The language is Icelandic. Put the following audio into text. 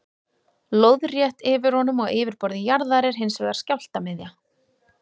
Lóðrétt yfir honum á yfirborði jarðar er hins vegar skjálftamiðja.